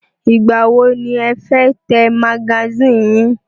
Ìgbà wọ ni ẹ fẹ́ tẹ magasínì yín?